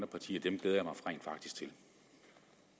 partier glæder